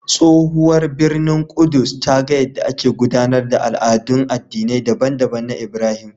Tsohuwar birnin Ƙudus ta ga yadda ake gudanar da al'adun addinai daban-daban na Ibrahim.